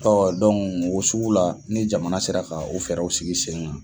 o sugula ni jamana sera ka o fɛɛrɛw sigi sen ga